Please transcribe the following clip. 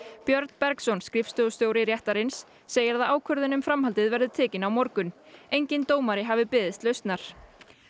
Björn Bergsson skrifstofustjóri réttarins segir að ákvörðun um framhaldið verði tekin á morgun enginn dómari hafi beðist lausnar